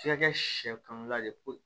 F'i ka kɛ sɛkanla ye